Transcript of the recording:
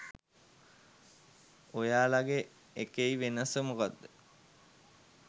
ඔයාලගෙ එකෙයි වෙනස මොකක්ද.